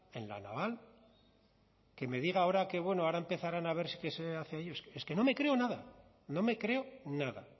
en la naval que me diga ahora que bueno ahora empezarán a ver qué se hace es que no me creo nada no me creo nada